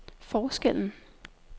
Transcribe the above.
forskellen